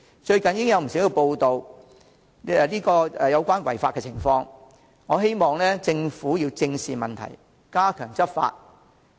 最近已有不少有關違法情況的報道，我希望政府正視問題，加強執法。